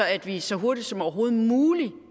at vi så hurtigt som overhovedet muligt